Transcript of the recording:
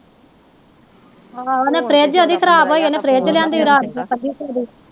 ਆਹੋ ਉਹਨੇ ਫਰਿਜ ਉਹਦੀ ਖਰਾਬ ਹੋਈ ਉਹਨੇ ਫਰਿਜ ਲਿਆਂਦੀ ਰਾਤ ਦੀ